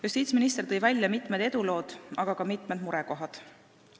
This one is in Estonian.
Justiitsminister tõi välja mitmed edulood, aga ka mitmed murekohad.